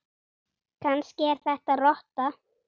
Kannski er þetta rotta?